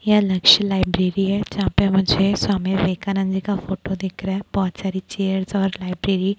यह लक्ष्य लाइब्रेरी है जहाँ पे मुझे स्वामी विवेक आंनद जी का फोटो दिख रहा है बहोत सारी चेयर और लाइब्रेरी --